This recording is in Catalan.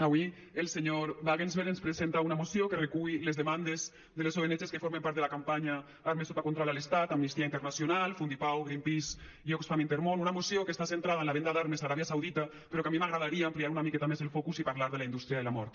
avui el senyor wagensberg ens presenta una moció que recull les demandes de les ong que formen part de la campanya armes sota control a l’estat amnistia internacional fundipau greenpeace i oxfam intermón una moció que està centrada en la venda d’armes a aràbia saudita però que a mi m’agradaria ampliar una miqueta més el focus i parlar de la indústria de la mort